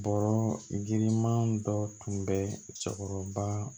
Bɔrɔ girinman dɔ tun bɛ cɛkɔrɔba